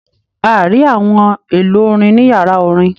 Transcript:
A rí àwọn èlò orin ní yàrá orin.